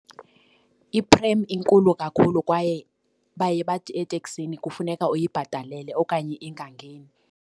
Iphrem inkulu kakhulu kwaye baye bathi eteksini kufuneka uyibhatalele okanye ingangeni.